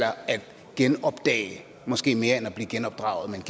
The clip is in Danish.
genopdage måske mere end at blive genopdraget